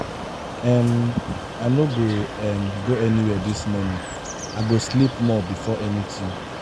um i no go um go anywhere dis morning. i go sleep more before anything.